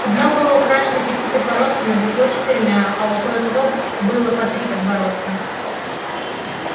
одно было украшено пятью подбородками другое четырьмя у кое-кого было по три подбородка